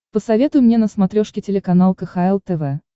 посоветуй мне на смотрешке телеканал кхл тв